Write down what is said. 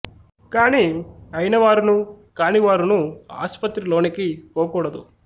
కాని అయిన వారును కాని వారును ఆస్పత్రి లోనికి పోకూడదు